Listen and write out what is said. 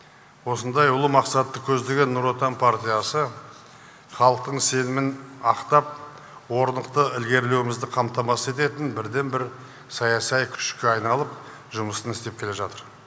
осындай ұлы мақсатты көздеген нұр отан партиясы халықтың сенімін ақтап орнықты ілгерілеуімізді қамтамасыз ететін бірден бір саясай күшке айналып жұмысын істе келе жатыр